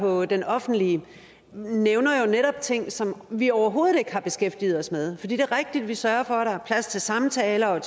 på denoffentligedk nævner jo netop ting som vi overhovedet ikke har beskæftiget os med for det er rigtigt at vi sørger for at der er plads til samtaler og